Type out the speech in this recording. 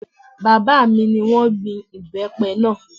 Bàbá mi ni wọ́n gbin ìbẹ́pẹ náà